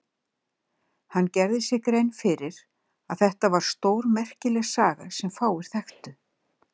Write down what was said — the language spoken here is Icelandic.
Hann gerði sér grein fyrir að þetta væri stórmerkileg saga sem fáir þekktur.